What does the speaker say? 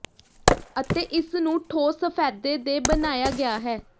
ਅਤੇ ਇਸ ਨੂੰ ਠੋਸ ਸਫ਼ੈਦੇ ਦੇ ਬਣਾਇਆ ਗਿਆ ਹੈ